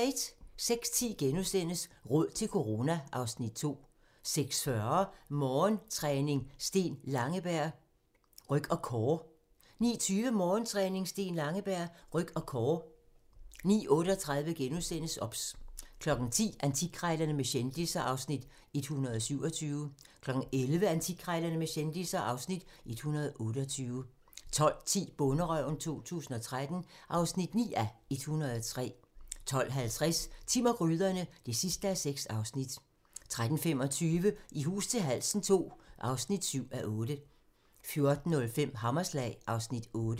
06:10: Råd til corona (Afs. 2)* 06:40: Morgentræning: Steen Langeberg - ryg og core 09:20: Morgentræning: Steen Langeberg - ryg og core 09:38: OBS * 10:00: Antikkrejlerne med kendisser (Afs. 127) 11:00: Antikkrejlerne med kendisser (Afs. 128) 12:10: Bonderøven 2013 (9:103) 12:50: Timm og gryderne (6:6) 13:25: I hus til halsen II (7:8) 14:05: Hammerslag (Afs. 8)